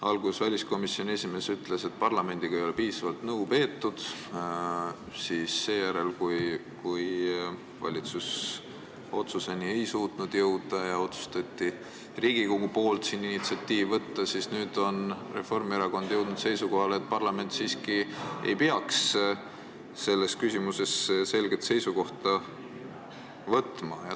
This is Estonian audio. Alguses väliskomisjoni esimees ütles, et parlamendiga ei ole piisavalt nõu peetud, seejärel, kui valitsus ei suutnud otsusele jõuda ja Riigikogu poolt otsustati initsiatiiv võtta, on Reformierakond jõudnud seisukohale, et parlament siiski ei peaks selles küsimuses selget seisukohta võtma.